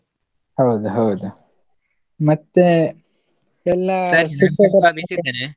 ಹೌದು ಹೌದು ಮತ್ತೆ, ಎಲ್ಲ .